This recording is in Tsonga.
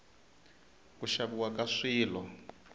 ku xaviwa ka swilo